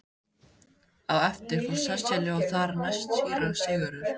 Á eftir fór Sesselja og þar næst síra Sigurður.